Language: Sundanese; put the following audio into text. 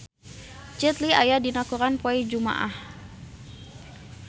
Jet Li aya dina koran poe Jumaah